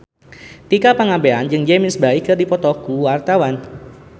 Tika Pangabean jeung James Bay keur dipoto ku wartawan